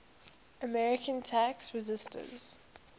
american tax resisters